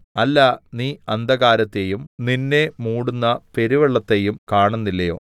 അല്ല നീ അന്ധകാരത്തെയും നിന്നെ മൂടുന്ന പെരുവെള്ളത്തെയും കണുന്നില്ലയോ